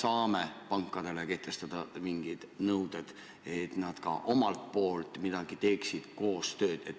Kas me saame kehtestada pankadele mingisugused nõuded, et ka nemad koostööd teeksid?